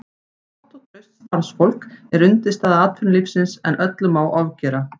Gott og traust starfsfólk er undirstaða atvinnulífsins en öllu má ofgera.